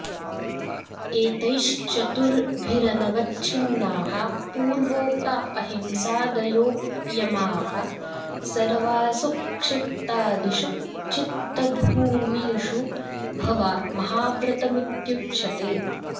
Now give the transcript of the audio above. एतैश्चतुर्भिरनवच्छिन्नाः पूर्वोक्ता अहिंसादयो यमाः सर्वासु क्षिप्तादिषु चित्तभूमिषु भवा महाव्रतमित्युच्यते